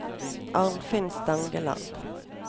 Arnfinn Stangeland